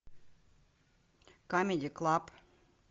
камеди клаб